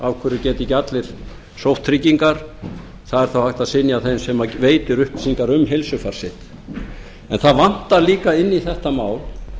af hverju geta ekki allir sótt tryggingar það er þá hægt að synja þeim sem veitir upplýsingar um heilsufar sitt en það vantar líka inn í þetta mál